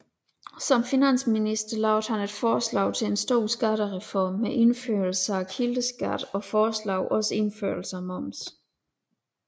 Som finansminister lavede han et forslag til en stor skattereform med indførelse af kildeskat og foreslog også indførelsen af moms